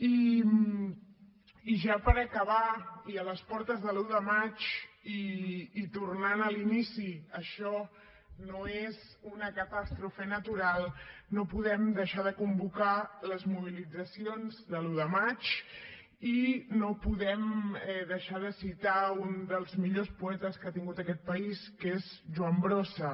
i ja per acabar i a les portes de l’u de maig i tornant a l’inici això no és una catàstrofe natural no podem deixar de convocar les mobilitzacions de l’u de maig ni podem deixar de citar un dels millors poetes que ha tingut aquest país que és joan brossa